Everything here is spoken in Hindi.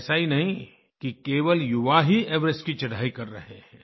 ऐसा ही नहीं कि केवल युवा ही एवरेस्ट की चढ़ाई कर रहे हैं